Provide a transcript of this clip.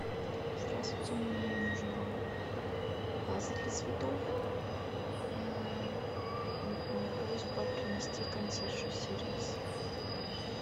здравствуйте мне нужна ваза для цветов просьба принести консьерж сервис